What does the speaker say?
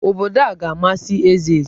Obodo a ga-amasị Ezeji.